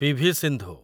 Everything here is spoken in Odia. ପି.ଭି. ସିନ୍ଧୁ